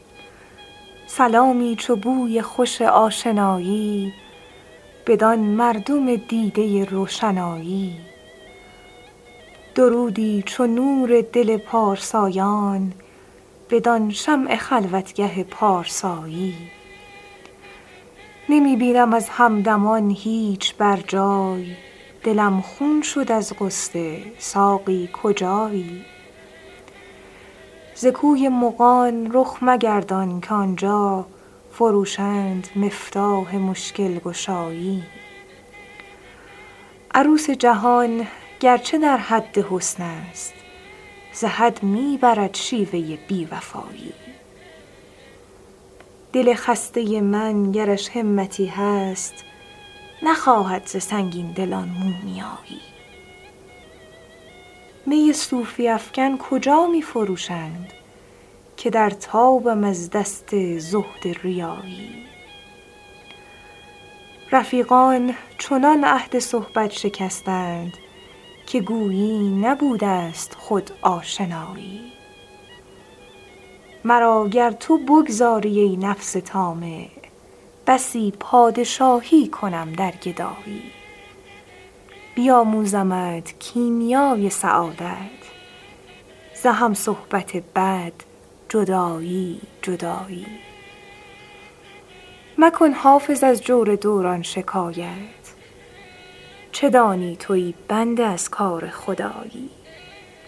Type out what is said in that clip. سلامی چو بوی خوش آشنایی بدان مردم دیده روشنایی درودی چو نور دل پارسایان بدان شمع خلوتگه پارسایی نمی بینم از همدمان هیچ بر جای دلم خون شد از غصه ساقی کجایی ز کوی مغان رخ مگردان که آن جا فروشند مفتاح مشکل گشایی عروس جهان گر چه در حد حسن است ز حد می برد شیوه بی وفایی دل خسته من گرش همتی هست نخواهد ز سنگین دلان مومیایی می صوفی افکن کجا می فروشند که در تابم از دست زهد ریایی رفیقان چنان عهد صحبت شکستند که گویی نبوده ست خود آشنایی مرا گر تو بگذاری, ای نفس طامع بسی پادشایی کنم در گدایی بیاموزمت کیمیای سعادت ز هم صحبت بد جدایی جدایی مکن حافظ از جور دوران شکایت چه دانی تو ای بنده کار خدایی